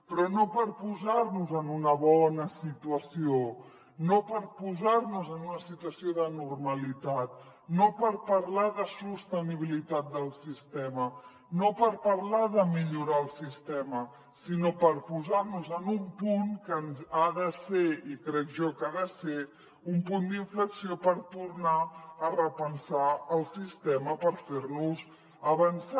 però no per posar nos en una bona situació no per posar nos en una situació de normalitat no per parlar de sostenibilitat del sistema no per parlar de millorar el sistema sinó per posar nos en un punt que ha de ser i crec jo que ha de ser un punt d’inflexió per tornar a repensar el sistema per fer nos avançar